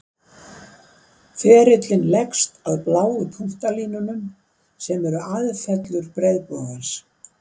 Ferillinn leggst að bláu punktalínunum, sem eru aðfellur breiðbogans.